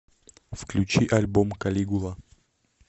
включи альбом калигула